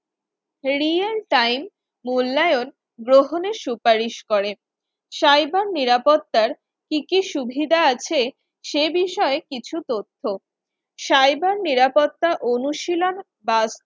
real time মূল্যায়ন গ্রহণের সুপারিশ করে, cyber নিরাপত্তার কি কি সুবিধা আছে সে বিষয় কিছু তথ্য cyber নিরাপত্তার অনুশীলন বা